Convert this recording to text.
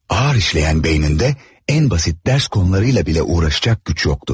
Ağır işleyen beyninde en basit ders konularıyla bile uğraşacak güç yoktu.